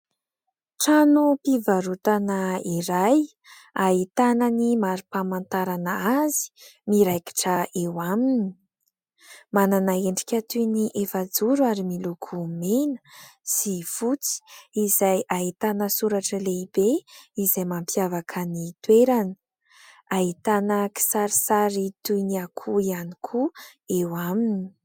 Trano fivarotana iray ahitana ny marim-pamantarana azy miraikitra eo aminy, manana endrika toy ny efajoro ary miloko mena sy fotsy izay ahitana soratra lehibe izay mampiavaka ny toerana ; ahitana kisarisary toy ny akoho ihany koa eo aminy.